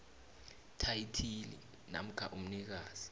thayithili namkha umnikazi